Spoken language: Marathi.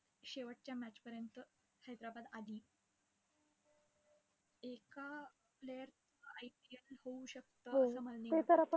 आणि तिथून पुढे मग posting काढल्याचा नंतर सगर पेचींग ला up down करत राहिलो मग इकड तिकड इकड तिकड